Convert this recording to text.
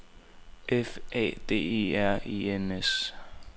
F A D E R E N S